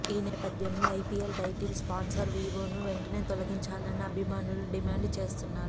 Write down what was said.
ఈ నేపథ్యంలో IPL title sponsor వీవోను వెంటనే తొలగించాలని అభిమానులు డిమాండ్ చేస్తున్నారు